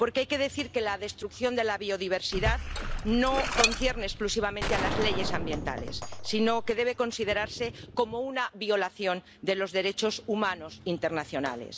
Porque hay que decir que la destrucción de la biodiversidad no concierne exclusivamente a las leyes ambientales sino que debe considerarse como una violación de los derechos humanos internacionales.